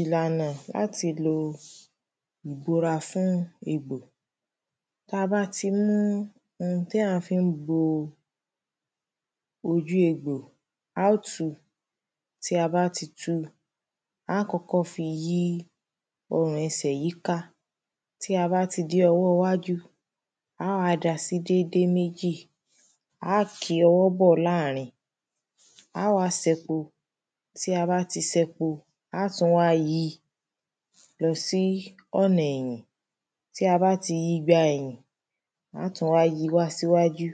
Ìlànà láti lo ìbora fún egbò. Ta bá ti mú ohun tí à fí ń bo ojú egbò, a ó tu. Tí a bá ti tu, á kọ́kọ́ fi yí ọrùn ẹsẹ̀ yíká. Tí a bá ti dé ọwọ́ wájú, á wá da sí dédé méjì. Á ki ọwọ́ bọ́ láàrin. Á wá sẹ́ po, tí a bá ti sẹ po, á tún wá yi lọ sí ọ̀nà ẹ̀yìn. Tí a bá ti yí gba ẹ̀yìn, á tún wá yí síwájú.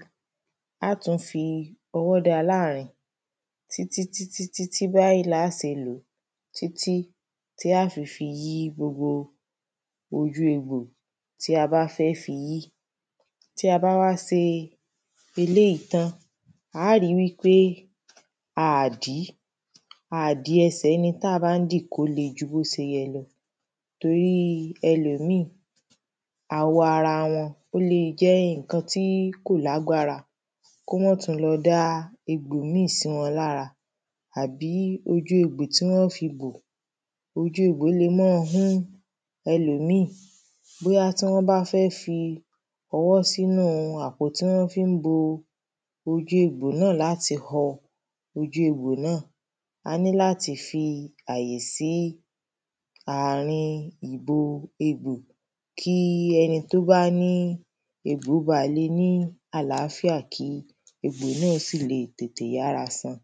Á tún fi ọwọ́ dá a láàrin. Títítítí báyí lá se lò ó. Títí tí á fi fi yí gbogbo ojú egbò tá a bá fẹ́ fi yí. Tí a bá wá se eléyí tán á ri wípé a à dí. A à di ẹsẹ ẹni tí à bá ń dì kó le ju bó se yẹ lọ Torí ẹlòmíì awọ ara wọn ó lè jẹ́ ǹkan tí kò lágbára. Kó mán tún lọ dá egbò míì sí wọn lára. Àbí ojú egbò tí wọ́n fi bò. Ojú egbò le máa hú ẹlòmíì. Bóyá tí wọ́n bá fẹ́ fọwọ́ sínú àpótí tí wọ́n fí ń bo ojú egbò náà láti họ ojú egbò náà. A ní láti fi àyè sí àrin ìbo egbò. Kí ẹni tó bá ní egbò le ní àlàfíà kí egbò náà sì le tètè yára san.